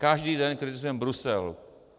Každý den kritizujeme Brusel.